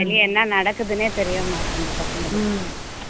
வெளிய என்ன நடக்குதுன்னே தெரிய மாட்டேன்னுது பசங்களுக்கு